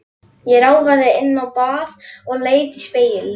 Ég ráfaði inn á bað og leit í spegilinn.